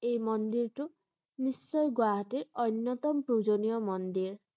এই মন্দিৰটো নিশ্চয় গুৱাহাটীৰ অন্য়তম পূজনীয়া মন্দিৰ ।